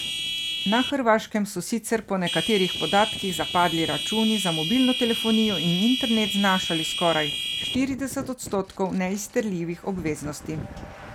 Na Hrvaškem so sicer po nekaterih podatkih zapadli računi za mobilno telefonijo in internet znašali skoraj štirideset odstotkov neizterljivih obveznosti.